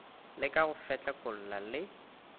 le ka go fetlekolla le